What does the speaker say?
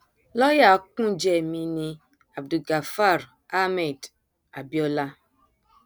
lọọyà kúnjẹ mi ní abdulgafar ahmed abiola